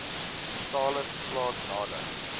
tale geplaas nadat